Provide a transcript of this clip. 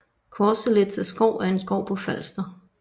Corselitze Skov er en skov på Falster